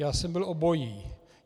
Já jsem byl obojí.